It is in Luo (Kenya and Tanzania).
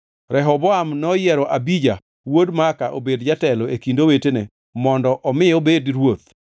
Rehoboam noyiero Abija wuod Maaka obed jatelo e kind owetene mondo omi obed ruoth.